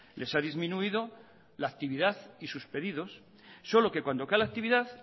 les ha disminuido la actividad y sus pedidos solo que cuando cae la actividad